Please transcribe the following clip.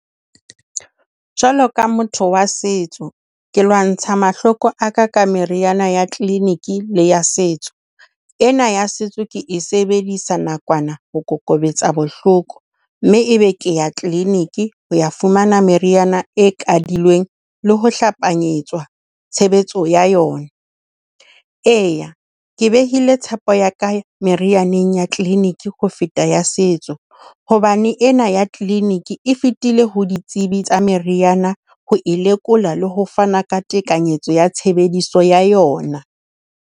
Jwalo ka motho wa setso, ke lwantsha mahloko a ka ka meriana ya clinic le setso. Ena ya setso ke e sebedisa nakwana, ho kokobetsa bohloko. Mme e be ke ya clinic ho ya fumana meriana e kadilweng le ho hlapanyetswa tshebetso ya yona. Eya, ke behile tshepo ya ka merianeng ya clinic ho feta ya setso hobane ena ya clinic e fetile ho ditsebi tsa meriana ho e lekola le ho fana ka tekanyetso ya tshebediso ya yona.